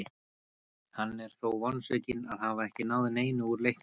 Hann er þó vonsvikinn að hafa ekki náð neinu úr leiknum.